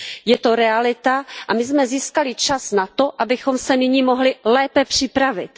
Je to realita a my jsme získali čas na to, abychom se nyní mohli lépe připravit.